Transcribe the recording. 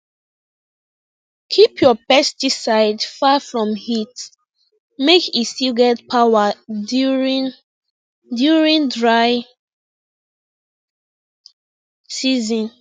keep your pesticide far from heat make e still get power during during dry season